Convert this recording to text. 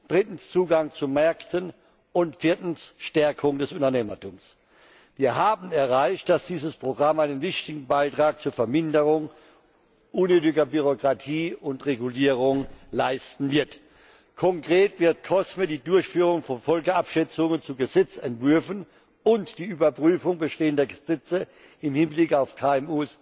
drittens, Zugang zu Märkten und viertens, Stärkung des Unternehmertums. Wir haben erreicht, dass dieses Programm einen wichtigen Beitrag zur Verminderung unnötiger Bürokratie und Regulierung leisten wird. Konkret wird COSME die Durchführung von Folgenabschätzungen zu Gesetzesentwürfen und die Überprüfung bestehender Gesetze im Hinblick auf